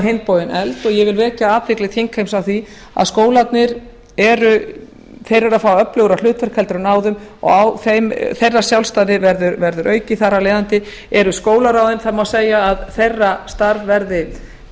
hinn bóginn efld og ég vil vekja athygli þingheims á því að skólarnir eru að fá öflugra hlutverk heldur en áður og þeirra sjálfstæði verður aukið þar af leiðandi eru háskólaráðin það má segja að þeirra starf